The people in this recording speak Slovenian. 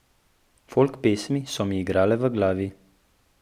Folk pesmi so mi igrale v glavi.